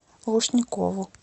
лушникову